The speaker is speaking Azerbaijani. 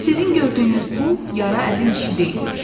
Sizin gördüyünüz bu yara əlin işi deyil.